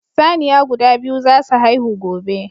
Saniya guda biyu za su haihu gobe.